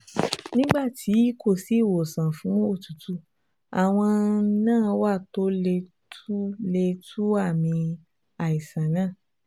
Nígbà tí kò sí ìwòsàn fún òtútù, àwọn nǹan wà tó lè tu lè tu àmì àìsàn náà